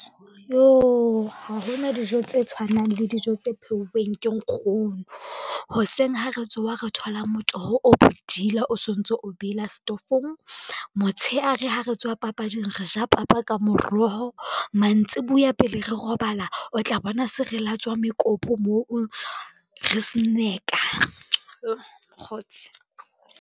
Yoh, ha hona dijo tse tshwanang le dijo tse pheuweng ke nkgono. Hoseng ha re tsoha re thola motoho o bodila o sontso o bela setofong. Motshehare ha re tswa papading re ja papa ka moroho. Mantsibuya pele re robala o tla bona se re latswa mekopu moo re snacker, yoh mokgotsi.